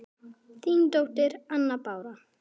Þín dóttir, Anna Bára.